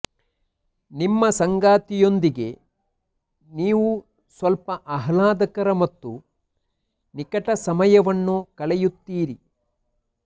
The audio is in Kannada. ನಿಮ್ಮ ಸಂಗಾತಿಯೊಂದಿಗೆ ನೀವು ಸ್ವಲ್ಪ ಆಹ್ಲಾದಕರ ಮತ್ತು ನಿಕಟ ಸಮಯವನ್ನು ಕಳೆಯುತ್ತೀರಿ